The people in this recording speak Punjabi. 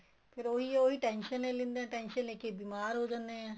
ਫ਼ੇਰ ਉਹੀ ਉਹੀ tension ਲੇ ਲਿੰਨੇ ਏ tension ਲੈਕੇ ਬੀਮਾਰ ਹੋ ਜਾਂਦੇ ਏ